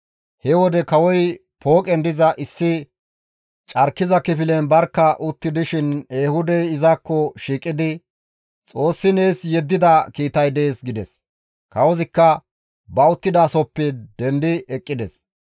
He wode kawoy pooqen diza issi carkiza kifilen barkka utti dishin Ehuudey izakko shiiqidi, «Xoossi nees yeddida kiitay dees» gides; kawozikka ba uttidasohoppe dendi eqqides.